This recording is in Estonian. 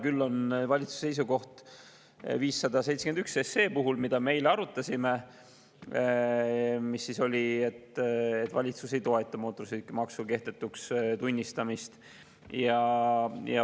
Küll on olemas valitsuse seisukoht seaduseelnõu 571 kohta, mida me eile arutasime, ja see oli, et valitsus ei toeta mootorsõidukimaksu kehtetuks tunnistamist.